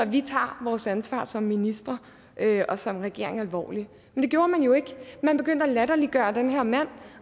vi tager vores ansvar som minister og som regering alvorligt men det gjorde man jo ikke man begyndte at latterliggøre den her mand